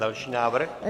Další návrh.